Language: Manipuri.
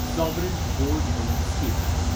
sovereign gold bond scheme